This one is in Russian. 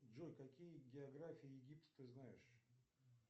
джой какие географии египта ты знаешь